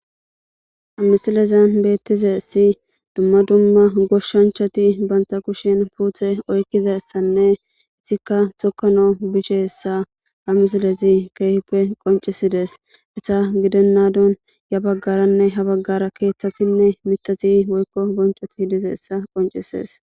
Ha misilezan beettize si dumma dumma goshshanchati banta kushen puuthe oykkizassanne isikka tokano beshshisse ha misilezi keefileppe qoncisides. isa gidennadon ya baggaranne ha baggara keeththasinne mitasi woykko boncoti dizessa qonccises.